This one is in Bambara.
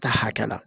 Ta hakɛ la